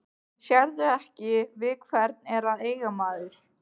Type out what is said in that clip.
Sérðu ekki við hvern er að eiga maður?